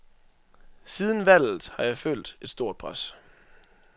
Siden valget har jeg følt et stort pres.